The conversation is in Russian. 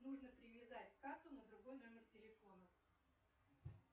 нужно привязать карту на другой номер телефона